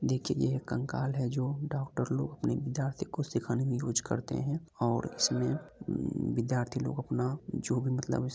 देखिए ये एक कंकाल है जो डॉक्टर लोग अपने विद्यार्थियों को सीखाने मे यूस करते है। और इसमे विद्यार्थी लोग अपना जो भी मतलब--